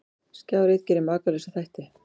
Skjár einn gerir Makalausa þætti